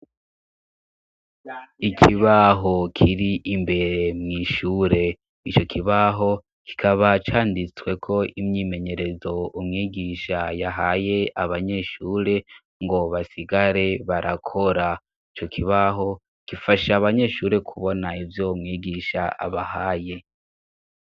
Ikibaho kiri imbere mw'ishure ico kibaho kikaba canditsweko imyimenyerezo umwigisha yahaye abanyeshure ngo basigare barakora. Ico kibaho kifasha abanyeshure kubona ibyo mwigisha abahaye.